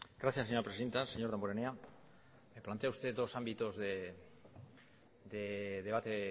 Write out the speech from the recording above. gracias señora presidenta señor damborenea me plantea usted dos ámbitos de debate